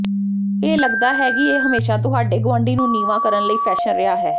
ਇਹ ਲਗਦਾ ਹੈ ਕਿ ਇਹ ਹਮੇਸ਼ਾ ਤੁਹਾਡੇ ਗੁਆਂਢੀ ਨੂੰ ਨੀਵਾਂ ਕਰਨ ਲਈ ਫੈਸ਼ਨ ਰਿਹਾ ਹੈ